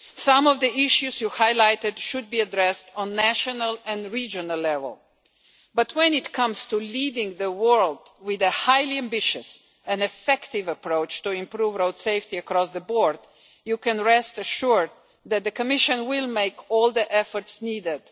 Some of the issues you highlighted should be addressed at national and regional level but, when it comes to leading the world with a highly ambitious and effective approach to improve road safety across the board, you can rest assured that the Commission will make every effort needed.